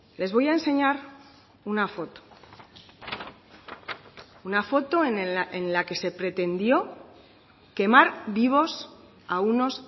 les voy a enseñar una foto una foto en la que se pretendió quemar vivos a unos